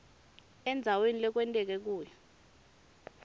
endzaweni lekwenteke kuyo